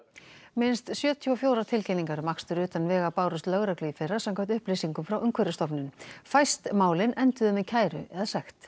minnst sjötíu og fjórar tilkynningar um akstur utan vega bárust lögreglu í fyrra samkvæmt upplýsingum frá Umhverfisstofnun fæst málin enduðu með kæru eða sekt